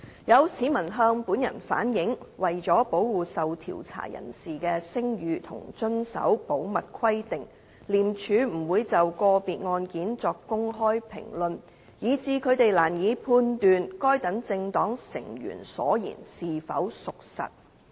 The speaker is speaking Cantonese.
有市民向本人反映，為了保護受調查人士的聲譽和遵守保密規定，廉署不會就個別案件作公開評論，以致他們難以判斷該等政黨成員所言是否屬實。